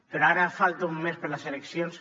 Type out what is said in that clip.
però ara falta un mes per a les eleccions